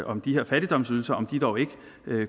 om de her fattigdomsydelser dog ikke